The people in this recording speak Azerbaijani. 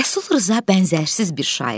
Rəsul Rza bənzərsiz bir şair.